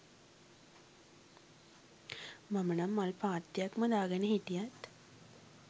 මම නම් මල් පාත්තියක්ම දාගෙන හිටියත්